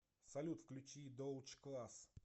салют включи доутч класс